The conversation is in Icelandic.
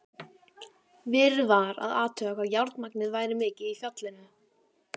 Verið var að athuga hvað járnmagnið væri mikið í fjallinu.